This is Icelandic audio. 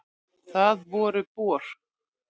Það voru Bor.